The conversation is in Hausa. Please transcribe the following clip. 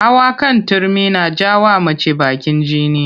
Hawa kan Turmi na ja wa mace bakin jini